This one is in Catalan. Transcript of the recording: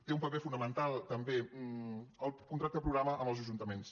té un paper fonamental també el contracte programa amb els ajuntaments